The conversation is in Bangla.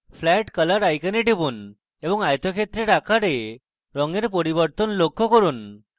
flat color icon টিপুন এবং আয়তক্ষেত্রের আকারে রঙের পরিবর্তন লক্ষ্য করুন